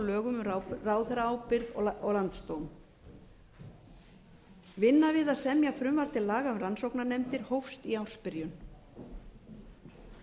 lögum um ráðherraábyrgð og landsdóm vinna við að semja frumvarp til laga um rannsóknarnefndir hófst í ársbyrjun þá óskaði